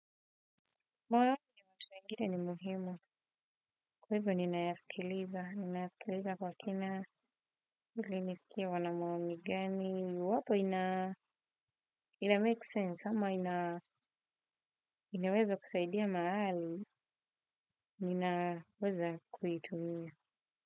Maoni ya watu wenhine ni muhimu. Kwa hivyo ninayaskiliza ninayaskiliza kwa kina ili nisikie wana maoni gani iwapo ina make sense ama inaweza kusaidia mahali ninaweza kuitumia.